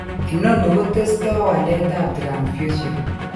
Inoni kotesto waletap transfusion.